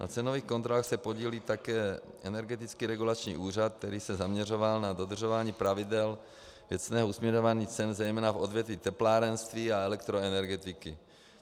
Na cenových kontrolách se podílí také Energetický regulační úřad, který se zaměřoval na dodržování pravidel věcného usměrňování cen, zejména v odvětvích teplárenství a elektroenergetiky.